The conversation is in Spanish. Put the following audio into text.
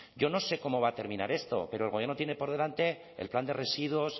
yo no sé cómo va a terminar esto pero el gobierno tiene por delante el plan de residuos